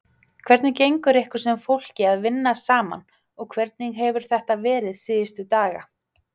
Hvernig gengur ykkur sem fólki að vinna saman og hvernig hefur þetta verið síðustu daga?